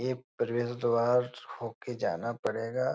ऐ प्रवेश द्वार होके जाना पड़ेगा ।